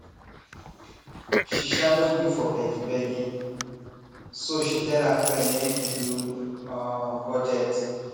she um no gree for begi begi so she tell her friend make e do um budget